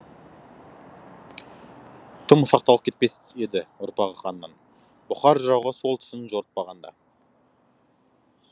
тым ұсақталып кетпес еді ұрпағы ханның бұқар жырауға сол түсін жорытпағанда